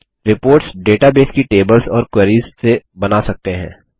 reports database की tables और queries से बना सकते हैं